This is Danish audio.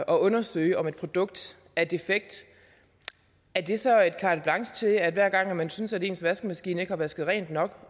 undersøge om et produkt er defekt er det så et carte blanche til at hver gang man synes at ens vaskemaskine ikke har vasket rent nok